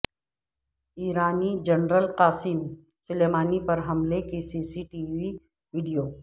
ایرانی general Qasem Soleimani پر حملے کی C C T V video